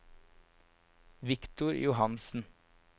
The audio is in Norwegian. Viktor Johansen